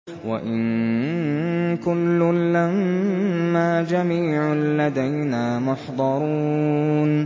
وَإِن كُلٌّ لَّمَّا جَمِيعٌ لَّدَيْنَا مُحْضَرُونَ